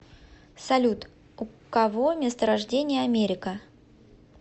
салют у кого место рождения америка